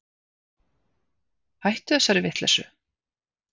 Hættu þessari vitleysu.